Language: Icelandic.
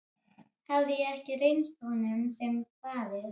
Hafði ég ekki reynst honum sem faðir?